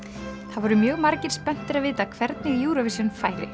það voru mjög margir spenntir að vita hvernig Eurovision færi